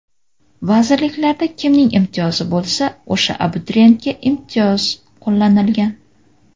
Vazirliklarda kimning imtiyozi bo‘lsa, o‘sha abituriyentga imtiyoz qo‘llanilgan.